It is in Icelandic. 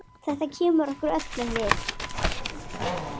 Hver er Jónas?